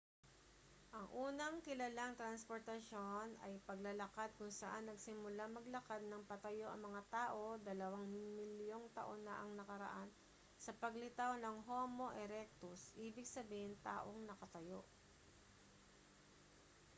ang unang kilalang transportasyon ay paglalakad kung saan nagsimulang maglakad nang patayo ang mga tao dalawang milyong taon na ang nakararaan sa paglitaw ng homo erectus ibig sabihin taong nakatayo